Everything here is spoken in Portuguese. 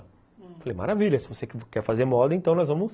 Falei, hum, maravilha, se você quer fazer moda, então nós vamos...